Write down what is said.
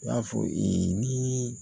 I y'a fɔ e ni